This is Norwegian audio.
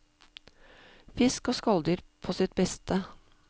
Fisk og skalldyr på sitt beste.